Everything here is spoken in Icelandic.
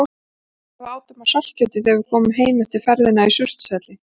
Mundu hvað við átum af saltkjöti þegar við komum heim eftir ferðina í Surtshelli.